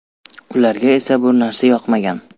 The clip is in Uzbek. Ularga esa bu narsa yoqmagan.